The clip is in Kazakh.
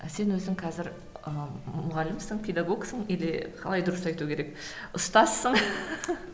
а сен өзің қазір ы мұғалімсің педагогсың или қалай дұрыс айту керек ұстазсың